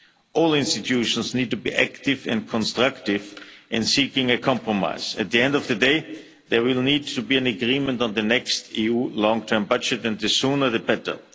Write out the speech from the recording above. All institutions need to be active and constructive in seeking a compromise. At the end of the day, there will need to be an agreement on the next EU long term budget, and the sooner the better.